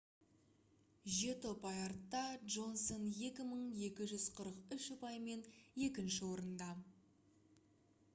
жеті ұпай артта джонсон 2243 ұпаймен екінші орында